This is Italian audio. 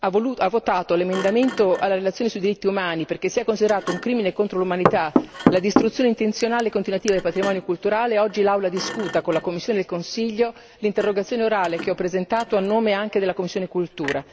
ha votato l'emendamento alla relazione sui diritti umani perché sia considerato un crimine contro l'umanità la distruzione intenzionale e continuativa del patrimonio culturale, oggi l'Aula discuta con la Commissione e il Consiglio l'interrogazione orale che ho presentato a nome anche della commissione cultura.